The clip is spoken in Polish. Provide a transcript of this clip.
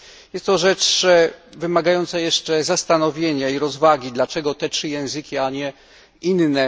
Jest to rzecz wymagająca jeszcze zastanowienia i rozwagi dlaczego te trzy języki, a nie inne.